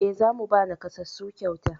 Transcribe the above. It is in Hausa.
E, za mu ba naƙasassu kyauta.